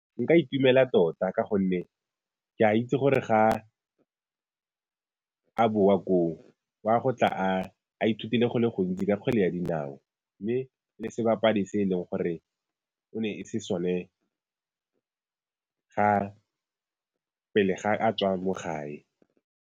Nka itumela tota ka gonne ke a itse gore ga a boa koo, wa go tla a ithutile go le gontsi ka kgwele ya dinao mme e le sebapadi se e leng gore o ne se sone pele ga a tswa mo gae.